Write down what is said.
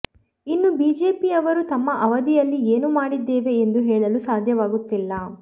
ಇನ್ನು ಬಿಜೆಪಿ ಅವರು ತಮ್ಮ ಅವಧಿಯಲ್ಲಿ ಏನು ಮಾಡಿದ್ದೇವೆ ಎಂದು ಹೇಳಲು ಸಾಧ್ಯವಾಗುತ್ತಿಲ್ಲ